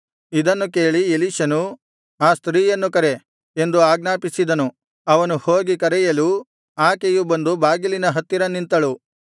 ಇದನ್ನು ಕೇಳಿ ಎಲೀಷನು ಆ ಸ್ತ್ರೀಯನ್ನು ಕರೆ ಎಂದು ಆಜ್ಞಾಪಿಸಿದನು ಅವನು ಹೋಗಿ ಕರೆಯಲು ಆಕೆಯು ಬಂದು ಬಾಗಿಲಿನ ಹತ್ತಿರ ನಿಂತಳು